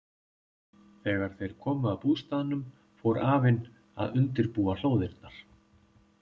Þegar þeir komu að bústaðnum fór afinn að undirbúa hlóðirnar.